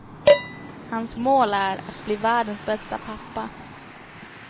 Hans mål är att bli världens bästa pappa.